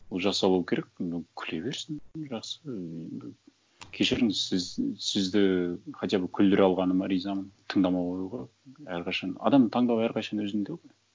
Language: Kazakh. жасалуы керек күле берсін жақсы кешіріңіз сізді хотя бы күлдіре алғаныма ризамын тыңдамауға әрқашан адамның таңдауы әрқашан өзінде ғой